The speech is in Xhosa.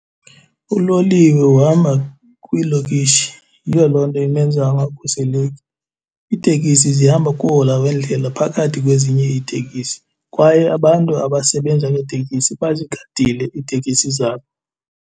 Uloliwe uhamba kwiilokishi. Yiyo loo nto imenza angakhuseleki. Iitekisi zihamba kuhola wendlela phakathi kwezinye iitekisi, kwaye abantu abasebenza ngeetekisi bazigadile iitekisi zabo.